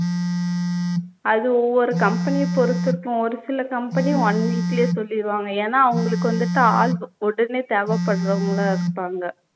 அது ஒவ்வொரு company அ பொருத்து இருக்கும் ஒருசில company one week லயே சொல்லிருவாங்க ஏனா அவங்களுக்கு வந்துட்டு ஆள் ஒ உடனே தேவைப்பட்றவங்களா இருப்பாங்க